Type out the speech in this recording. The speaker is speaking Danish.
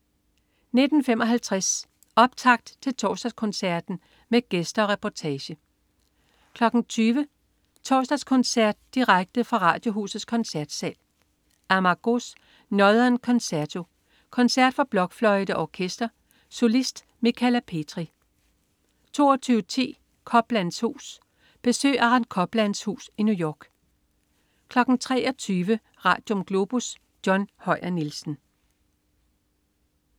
19.55 Optakt til Torsdagskoncerten med gæster og reportage 20.00 Torsdagskoncert direkte fra Radiohusets Koncertsal. Amargós: Northern Concerto. Koncert for blokfløjte og orkester. Solist: Michala Petri 22.10 Coplands hus. Besøg Aaron Coplands hus i New York 23.00 Radium. Globus. John Høyer Nielsen